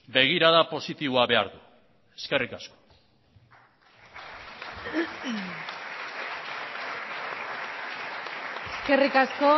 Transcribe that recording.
begirada positiboa behar du eskerrik asko eskerrik asko